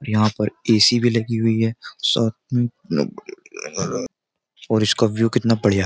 यहाँ पर एसी भी लगी हुई है साथ में और इसका व्यू कितना बढ़िया --